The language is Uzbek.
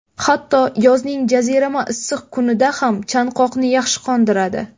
Hatto yozning jazirama issiq kunida ham, chanqoqni yaxshi qondiradi.